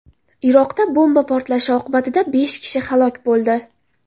Iroqda bomba portlashi oqibatida besh kishi halok bo‘ldi.